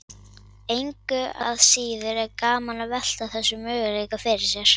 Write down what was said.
Engu að síður er gaman að velta þessum möguleika fyrir sér.